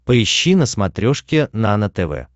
поищи на смотрешке нано тв